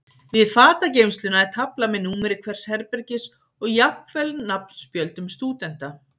Við fatageymsluna er tafla með númeri hvers herbergis og jafnvel nafnspjöldum stúdenta.